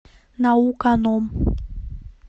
науканом